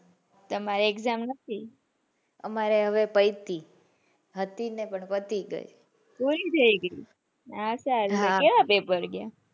તમારે exam નથી હમારે હવે પૈતિ હતી નઈ પણ પતિ ગયી. પુરી થઇ ગયી ઓહ્હ તો કેવા પેપર ગયા.